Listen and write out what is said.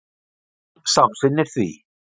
Gerður samsinnir því.